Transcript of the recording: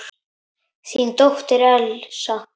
Þín dóttir, Elsa.